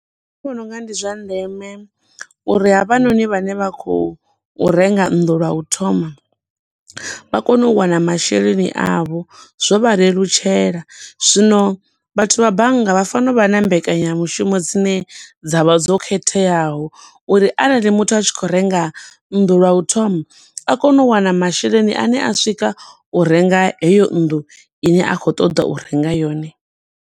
Nṋe ndi vhona unga ndi zwa ndeme uri havhanoni vhane vha khou renga nnḓu lwa u thoma, vha kone u wana masheleni avho, zwo vha lelutshela. Zwino vhathu vha bannga vha fana u vha na mbekanya mushumo dzine dza vha dzo khetheaho, uri arali muthu a tshi khou renga nnḓu lwa u thoma, a kone u wana masheleni ane a swika u renga heyo nnḓu ine a khou ṱoḓa u renga yone.